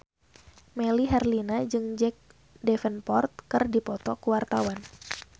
Melly Herlina jeung Jack Davenport keur dipoto ku wartawan